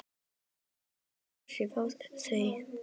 Hefur þetta áhrif á þau?